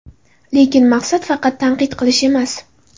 Lekin maqsad – faqat tanqid qilish emas.